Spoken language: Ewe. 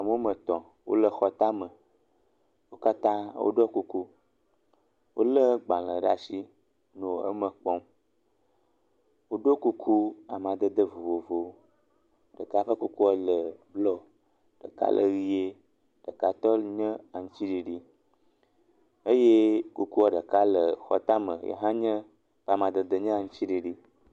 Ame woa me etɔ, wole xɔ tame. Wo kata wo ɖɔ kuku. Wole gbalʋ ɖe asi nɔ eme kpɔm. woɖɔ kuku amedede vovowo, ɖeka ƒe kuku le bluɔ, ɖeka le ʋie, ɖekatɔ nye aŋutiɖiɖi eye kukua ɖeka le xɔ tame. ɖeka nye amadede aŋutiɖiɖi.